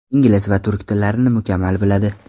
Ingliz va turk tillarini mukammal biladi.